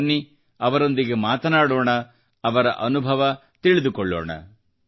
ಬನ್ನಿ ಅವರೊಂದಿಗೆ ಮಾತನಾಡೋಣ ಮತ್ತು ಅವರ ಅನುಭವ ತಿಳಿದುಕೊಳ್ಳೋಣ